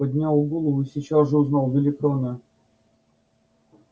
поднял голову и сейчас же узнал великана